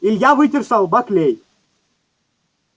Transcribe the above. илья вытер со лба клей